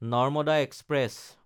Narmada express